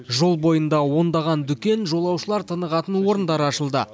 жол бойында ондаған дүкен жолаушылар тынығатын орындар ашылды